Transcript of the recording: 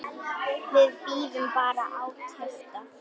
Við bíðum bara átekta.